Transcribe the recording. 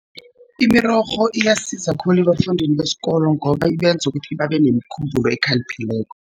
Imirorho iyasiza khulu ebafundini besikolo, ngoba ibenza ukuthi babe nemikhumbulo ekhaliphileko.